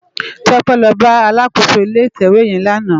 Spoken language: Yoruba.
Tope lò bá àlákósó ilé itèwé yèn làná